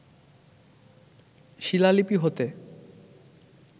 শিলালিপি হতে